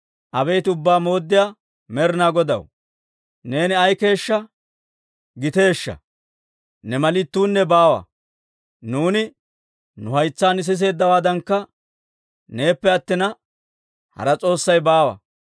«Abeet Ubbaa Mooddiyaa Med'inaa Godaw, neeni ay keeshshaa giteeshsha! Ne mali ittuunne baawa; nuuni nu haytsaan siseeddawaadankka, neeppe attina hara s'oossay baawa.